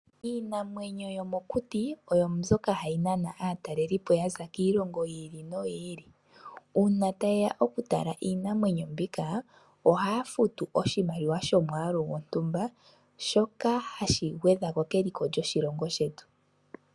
Iinamwenyo yomokuti oyo mbyoka hayi nana aatalelipo ya za kiilongo yi ili noyi ili. Uuna taye ya okutala iinamwenyo mbika, ohaa futu oshimaliwa shomwaalu gontumba shoka hashi gwedhako keliko lyoshilongo shetu.